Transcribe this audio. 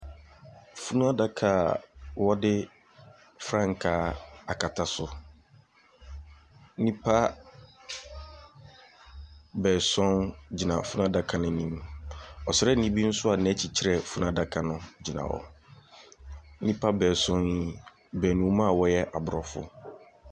Funuadaka a wɔde frankaa akata so. Nnipa baason gyina a funuadaka n'anim. Ɔsraani bi nso a n'akyi kyerɛ funuadaka no gyina hɔ. Nnipa baason yi baanum a wɔyɛ abrɔfo.